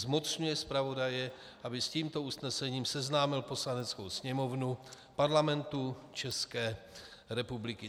Zmocňuje zpravodaje, aby s tímto usnesením seznámil Poslaneckou sněmovnu Parlamentu České republiky."